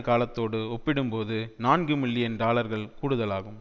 காலத்தோடு ஒப்பிடும்போது நான்கு மில்லியன் டாலர்கள் கூடுதலாகும்